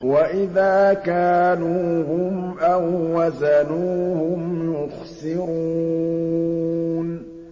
وَإِذَا كَالُوهُمْ أَو وَّزَنُوهُمْ يُخْسِرُونَ